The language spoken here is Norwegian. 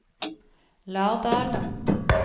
Lardal